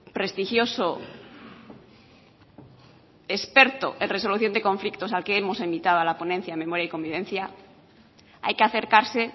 prestigioso experto en resolución de conflictos al que hemos invitado a la ponencia de memoria y convivencia hay que acercarse